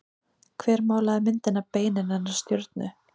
Hver málaði myndina Beinin hennar stjörnu?